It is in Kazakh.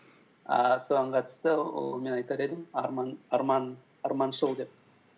ііі соған қатысты ол мен айтар едім арманшыл деп